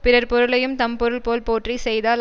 பிறர் பொருளையும் தம் பொருள் போல் போற்றி செய்தால்